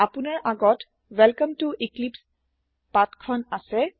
আপোনাৰ আগত ৱেলকমে ত এক্লিপছে পাঠ এখন আছে